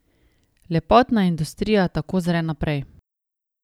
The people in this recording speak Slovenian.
Lepotna industrija tako zre naprej.